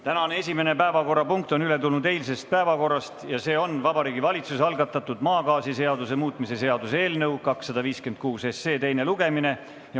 Tänane esimene päevakorrapunkt on üle tulnud eilsest päevakorrast ja see on Vabariigi Valitsuse algatatud maagaasiseaduse muutmise seaduse eelnõu 256 teine lugemine.